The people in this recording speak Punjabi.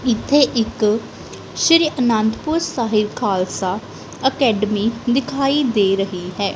ਇੱਥੇ ਇੱਕ ਸ਼੍ਰੀ ਅਨੰਦਪੁਰ ਸਾਹਿਬ ਖਾਲਸਾ ਅਕੈਡਮੀ ਦਿਖਾਈ ਦੇ ਰਹੀ ਹੈ।